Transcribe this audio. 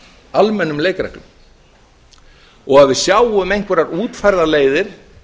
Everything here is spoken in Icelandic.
almennum leikreglum og að við sjáum einhverjar útfærðar leiðir